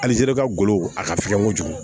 Alizeri ka golo a ka fiɲɛ kojugu